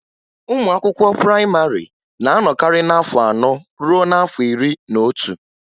Ụmụ akwụkwọ prayịmarị na-anọkarị n'afọ anọ ruo n'afọ iri n'otu